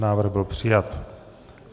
Návrh byl přijat.